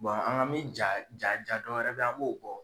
an k'an mi jaa jaa jaa dɔwɛrɛ bɛ ye an m'o bɔ